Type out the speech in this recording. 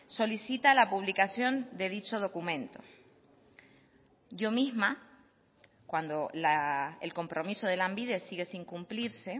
solicita la publicación de dicho documento yo misma cuando el compromiso de lanbide sigue sin cumplirse